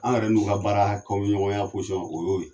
An yɛrɛ n'u ka baara kɛɲɔgɔnya o y'o ye